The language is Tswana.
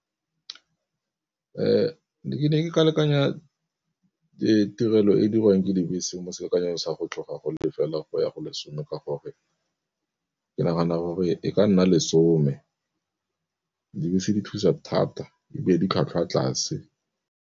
Ke be ke ka lekanya tirelo e dirwang ke dibese mo selekanyo sa go tloga go le fela go ya go lesome ka gore ke nagana gore e ka nna lesome, dibese di thusa thata ebile di tlhwatlhwa tlase.